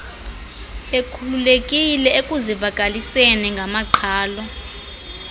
bekhululekile ekuzivakaliseni ngamaqhalo